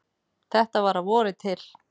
Þetta var að vori til.